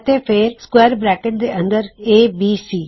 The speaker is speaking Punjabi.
ਅਤੇ ਫੇਰ ਸੂਕਵੇਅਰ ਬਰੈਕਟ ਦੇ ਅੰਦਰ ਏਬੀਸੀ